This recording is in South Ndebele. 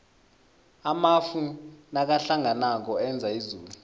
amafu nakahlanganako enza izulu